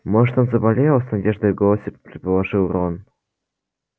может он заболел с надеждой в голосе предположил рон